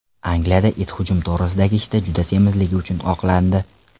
Angliyada it hujum to‘g‘risidagi ishda juda semizligi uchun oqlandi.